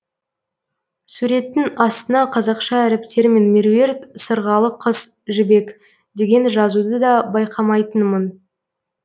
суреттің астына қазақша әріптермен меруерт сырғалы қыз жібек деген жазуды да байқамайтынмын